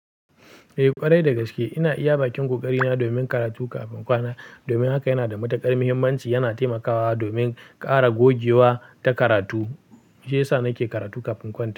Eh ƙwarai dagaske ina iya bakin ƙoƙari na domin karatu kafin kwana. Domin haka yana da matuƙar muhimmanci, yana taimakawa domin ƙara gogewa ta karatu. Shiyasa nake karatu kafin in kwanta.